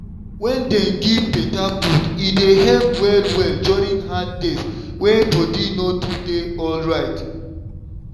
wen dem give better food e dey help well-well during hard days wey body no too dey alright.